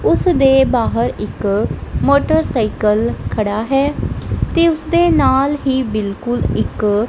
ਓਸਦੇ ਬਾਹਰ ਇੱਕ ਮੋਟਰਸਾਈਕਲ ਖੜਾ ਹੈ ਤੇ ਓਸਦੇ ਨਾਲ ਹੀ ਬਿਲਕੁਲ ਇੱਕ--